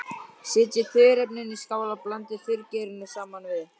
Setjið þurrefnin í skál og blandið þurrgerinu saman við.